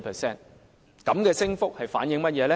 這種升幅反映出甚麼？